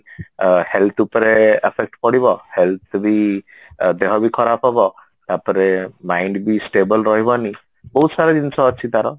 ଆ health ଉପରେ affect ପଡିବ health କୁ ବି ଦେହ ବି ଖରାପ ହବ ତାପରେ mind ବି stable ରହିବନି ବହୁତ ସାରା ଜିନିଷ ଅଛି ତାର